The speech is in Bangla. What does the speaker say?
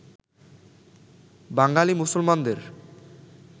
বাঙালী মুসলমানদের